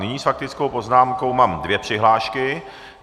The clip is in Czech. Nyní s faktickou poznámkou mám dvě přihlášky.